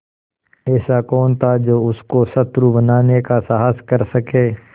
ऐसा कौन था जो उसको शत्रु बनाने का साहस कर सके